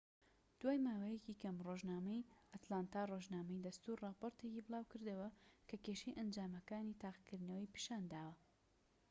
دوای ماوەیەکی کەم ڕۆژنامەی ئەتلانتا ڕۆژنامەی دەستوور ڕاپۆرتێکی بڵاوکردەوە کە کێشەی ئەنجامەکانی تاقیکردنەوەی پیشان داوە